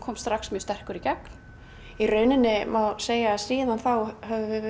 strax mjög sterkur í gegn í rauninni má segja að síðan þá höfum